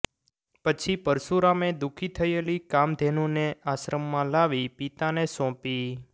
પછી પરશુરામે દુખી થયેલી કામધેનુને આશ્રમમાં લાવી પિતાને સોંપી